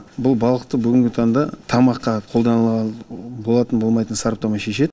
бұл балықты бүгінгі таңда тамаққа қолдануға болатынын болмайтынын сараптама шешеді